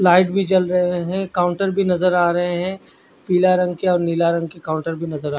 Light भी जल रहे है काउंटर भी नज़र आ रहे है पिला रंग के और लाल रंग के काउंटर भी नज़र आ रहे है।